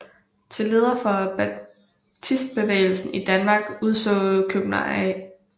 Til leder for baptistbevægelsen i Danmark udså Købner A